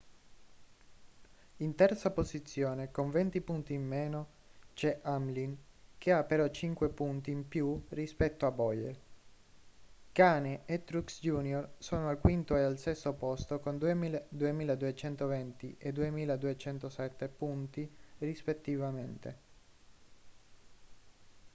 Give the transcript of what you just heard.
in terza posizione con venti punti in meno c'è hamlin che ha però cinque punti in più rispetto a bowyer kahne e truex jr sono al quinto e al sesto posto con 2.220 e 2.207 punti rispettivamente